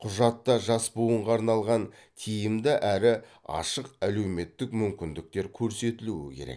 құжатта жас буынға арналған тиімді әрі ашық әлеуметтік мүмкіндіктер көрсетілуі керек